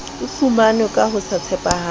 fumanwe ka ho se tshepahale